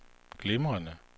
glimrende